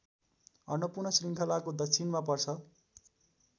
अन्नपूर्ण श्रृङ्खलाको दक्षिणमा पर्छ